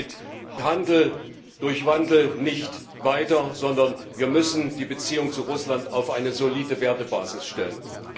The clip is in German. Wir kommen mit Wandel durch Handel nicht weiter, sondern wir müssen die Beziehung zu Russland auf eine solide Wertebasis stellen.